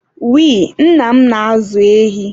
we, nna m na-ázụ̀ ehi